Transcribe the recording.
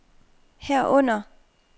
herunder